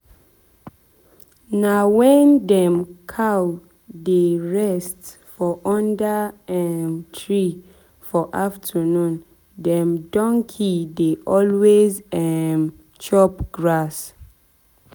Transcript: na when dem cow dey dey rest for under um tree for afternoon dem donkey dey always um chop grass.